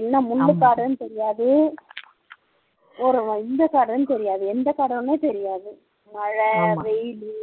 என்ன ஒரு முள்ளுக்காடுன்னு தெரியாது ஒரு வஞ்சக்காடுன்னு தெரியாது எந்தக்காடுன்னே தெரியாது மழை வெயிலு